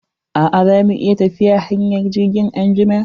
A'a, za mu iya tafiya hanyar jirgin anjima.